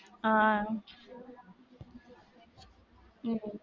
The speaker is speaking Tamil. ஆஹ்